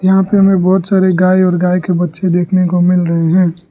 यहां पर हमें बहोत सारे गाय और गाय के बच्चे देखने को मिल रहे हैं।